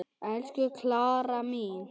Elsku Klara mín.